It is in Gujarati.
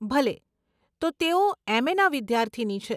ભલે, તો તેઓ એમએનાં વિદ્યાર્થીની છે.